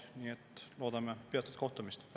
Nii et loodame peatset kohtumist.